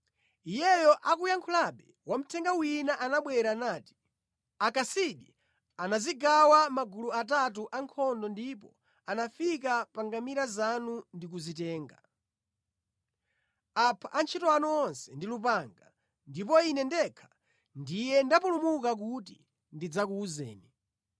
Iyeyo akuyankhulabe, wamthenga wina anabwera nati, “Akasidi anadzigawa mʼmagulu atatu ankhondo ndipo anafika pa ngamira zanu ndi kuzitenga. Apha antchito anu onse ndi lupanga, ndipo ine ndekha ndiye ndapulumuka kuti ndidzakuwuzeni!”